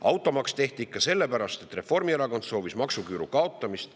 Automaks tehti ikka sellepärast, et Reformierakond soovis maksuküüru kaotamist.